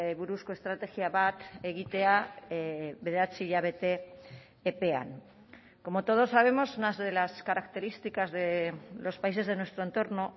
buruzko estrategia bat egitea bederatzi hilabete epean como todos sabemos unas de las características de los países de nuestro entorno